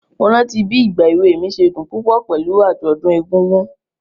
Mo rántí bí ìgba èwe mi ṣe dùn púpọ̀ pẹ̀lú àjọ̀dún egúngún.